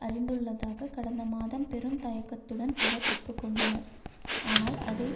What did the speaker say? அறிந்துள்ளதாக கடந்த மாதம் பெரும் தயக்கத்துடன் அவர் ஒப்பு கொண்டனர் ஆனால் அதை